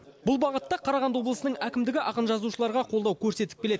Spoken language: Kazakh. бұл бағытта қарағанды облысының әкімдігі ақын жазушыларға қолдау көрсетіп келеді